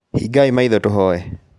Hingai maitho tũhoye